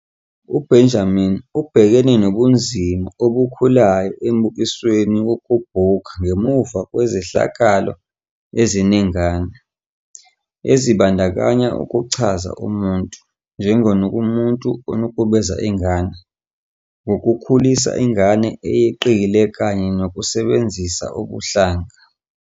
UBenjamin ubhekane nobunzima obukhulayo emibukisweni yokubhukha ngemuva kwezehlakalo eziningana, ezibandakanya ukuchaza umuntu "njengomuntu onukubeza ingane" ngokukhulisa ingane eyeqile kanye nokusebenzisa ubuhlanga.